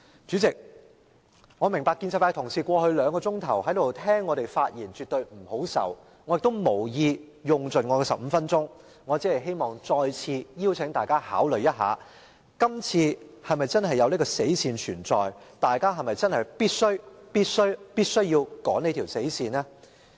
主席，我明白建制派同事在過去兩小時坐在這裏聆聽我們發言絕不好受，我亦無意用盡15分鐘的發言時間，我只想再次邀請大家考慮，今次是否真的有這條"死線"存在，大家是否真的必須、必須、必須要趕這條"死線"？